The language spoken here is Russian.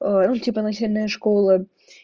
ну типа начальная школа